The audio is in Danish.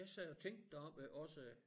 Jeg sad og tænkte deroppe også